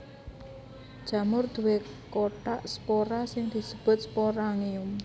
Jamur duwé kothak spora sing disebut sporangium